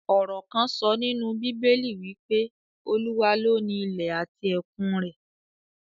Ọ̀rò kán sọ nínú bíbélì wí pé, Olúwa ló ni ilẹ̀ àti ẹ̀kun rẹ̀